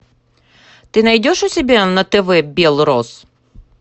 ты найдешь у себя на тв бел рос